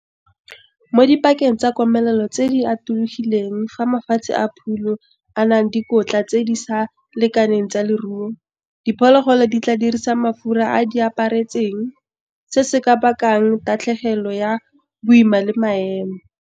Mo dipakeng tsa komelelo tse di atologileng fa mafatshe a phulo a na le dikotla tse di sa lekaneng tsa loruo, diphologolo di tlaa dirisa mafura a di a ipeetseng, se se ka bakang tatlhegelo ya boima le maemo.